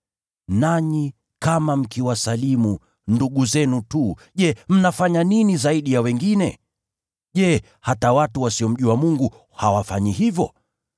Nanyi kama mkiwasalimu ndugu zenu tu, je, mnafanya nini zaidi ya wengine? Je, hata watu wasiomjua Mungu, hawafanyi hivyo?